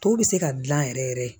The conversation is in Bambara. Tɔ bɛ se ka dilan yɛrɛ yɛrɛ